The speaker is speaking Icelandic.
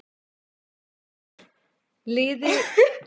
Liði klárt!